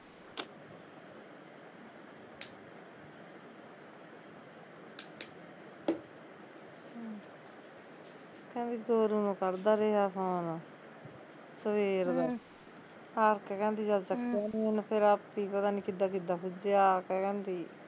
ਕਹਿੰਦੀ ਤੋਰੁ ਨੂੰ ਕਰਦਾ ਰਿਹਾ phone ਸਵੇਰ ਦਾ ਹਮ ਹਰ ਕੇ ਜਦ ਉਣ ਚੱਕਿਆ ਨੀ ਫਿਰ ਉਹਨੇ ਪਤਾ ਨੀ ਕਿੱਦਾਂ ਕਿੱਦਾਂ ਆ ਕੇ ਪੁੱਜਿਆ ਕਹਿੰਦੀ